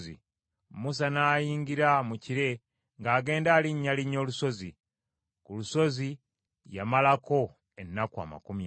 Musa n’ayingira mu kire ng’agenda alinnyalinnya olusozi. Ku lusozi yamalako ennaku amakumi ana.